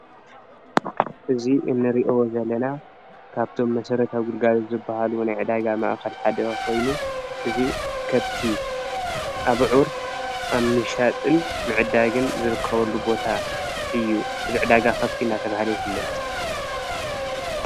እዚ እንሪኦ ዘለና ካብቶም መስራታዊ ግልጋሎት ዝበሃሉ ናይ ዕዳጋ ማእከል ሓደ ኮይኑ እዚ ከብቲ አብዕር አብ ምሻጥን ምዕዳግን ዝርከበሉ ቦታ እዩ። እዚ ዕዳጋ ከብቲ እናተባህለ ይፍለጥ፡፡